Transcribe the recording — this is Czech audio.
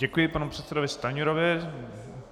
Děkuji panu předsedovi Stanjurovi.